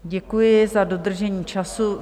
Děkuji za dodržení času.